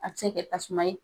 A tɛ se kɛ tasuma ye.